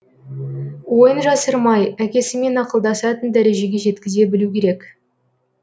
ойын жасырмай әкесімен ақылдасатын дәрежеге жеткізе білу керек